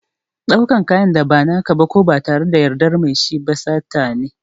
Ɗaukan kayan da ba na ka ba ko ba tare da yardar mai shi ba sata ne.